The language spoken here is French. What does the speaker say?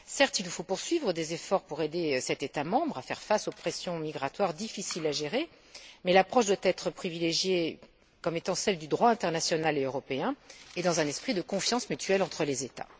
Certes, il faut poursuivre les efforts pour aider cet État membre à faire face aux pressions migratoires difficiles à gérer, mais l'approche à privilégier doit être celle du droit international et européen, dans un esprit de confiance mutuelle entre les États.